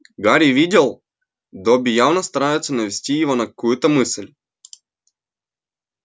гарри видел добби явно старается навести его на какую-то мысль